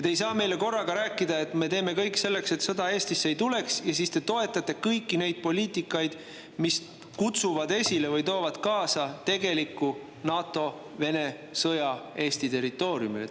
Te ei saa korraga rääkida, et me teeme kõik selleks, et sõda Eestisse ei tuleks, aga te toetate kõiki neid poliitikaid, mis kutsuvad esile või toovad kaasa tegeliku NATO-Vene sõja Eesti territooriumil.